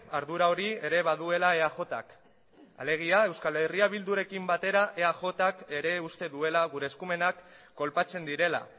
ardura hori ere baduela eajk alegia euskal herria bildurekin batera eajk ere uste duela gure eskumenak kolpatzen direla